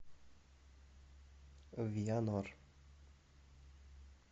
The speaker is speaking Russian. вианор